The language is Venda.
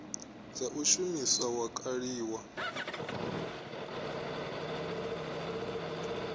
dza u shumisa wa kaliwa